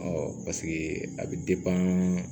paseke a bɛ